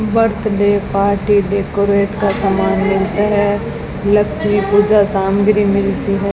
Birthday party decorate का सामान मिलता है लक्ष्मी पूजा सामग्री मिलती है।